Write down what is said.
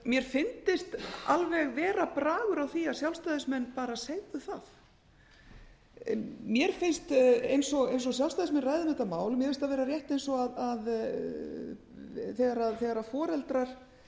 mér fyndist alveg vera bragur á því að sjálfstæðismenn bara segðu það mér finnst eins og sjálfstæðismenn ræða um þetta mál mér finnst það vera rétt eins og þegar foreldrar